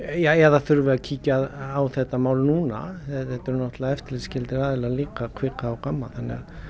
já eða þurfi að kíkja á þetta mál núna þetta eru náttúrlega eftirlitsskyldir aðilar líka kvika og Gamma þannig að